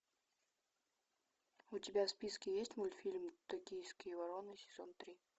у тебя в списке есть мультфильм токийские вороны сезон три